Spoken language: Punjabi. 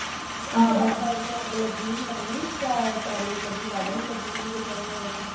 ਹਏ ਉਹ backside ਤੇ ਅੱਗ ਲੱਗ ਹੀ ਪਤਾ ਨੀ ਪੈਲੀ ਨੂੰ ਲੱਗੀ ਹੀ ਵੱਡ ਨੂੰ ਲੱਗੀ ਹੀ ਕਿਤੇ ਇਹ